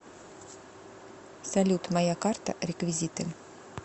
салют моя карта реквизиты